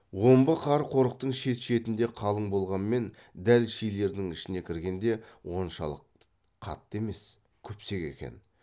омбы қар қорықтың шет шетінде қалың болғанмен дәл шилердің ішіне кіргенде оншалық қатты емес күпсек екен